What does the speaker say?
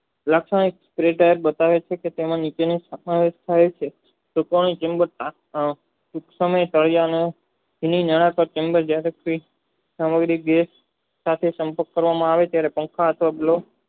વ્યાખ્યા પ્રયોગ બતાવે છે સાથે સંપર્ક કરવામાં આવે છે ત્યારે સંસથાપડ